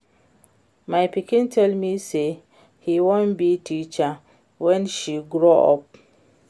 My pikin tell me say she wan be teacher wen she grow up